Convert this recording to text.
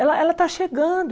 Ela ela está chegando.